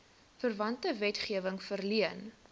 verwante wetgewing verleen